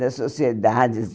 Das sociedades.